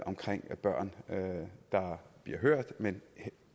er børn der bliver hørt men at